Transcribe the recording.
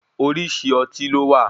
Orísìí Ọtí ló wà.